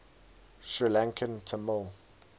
sri lankan tamil